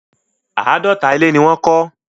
Àádọ́ta ilé ni wọ́n kọ́.